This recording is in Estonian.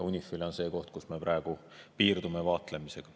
UNIFIL on see koht, kus me praegu piirdume vaatlemisega.